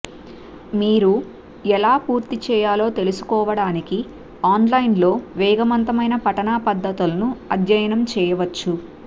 మీరు ఎలా పూర్తి చేయాలో తెలుసుకోవడానికి ఆన్లైన్లో వేగవంతమైన పఠనా పద్ధతులను అధ్యయనం చేయవచ్చు